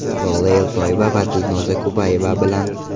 Lola Eltoyeva va Dilnoza Kubayeva bilan.